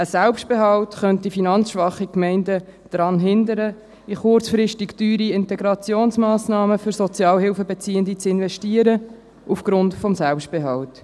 Ein Selbstbehalt könnte finanzschwache Gemeinden daran hindern, in kurzfristig teure Integrationsmassnahmen für Sozialhilfebeziehende zu investieren, aufgrund des Selbstbehalts.